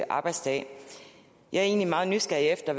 arbejdsdag jeg er egentlig meget nysgerrig efter